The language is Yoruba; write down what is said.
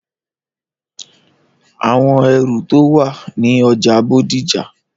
Àwọn ẹrù tó wà ní ọjà Bódìjà.